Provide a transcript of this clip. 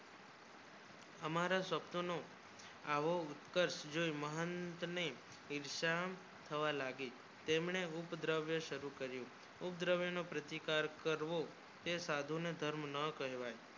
હમારા સ્વ્પ્ન નું આવી ઉત્તર જો મહંત ને ઈર્ષા થવા લાગી તમને ઉપદ્રવ્ય શુરુ કર્યું ઉપદ્રવયો ને પ્રતિકાર લારીઓ તે સાધુ ને ધર્મ ના કહેવાય